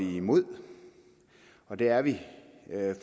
vi imod og det er vi